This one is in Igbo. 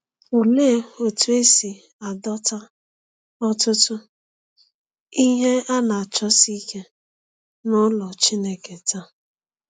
Olee otú e si adọta ọtụtụ “ihe a na-achọsi ike” n’ụlọ Chineke taa?